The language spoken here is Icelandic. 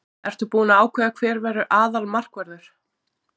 Ertu búinn að ákveða hver verður aðalmarkvörður?